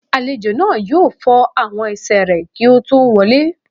Àlejò náà yóò fọ àwọn ẹsẹ̀ rẹ̀ kí ó tó wọ lé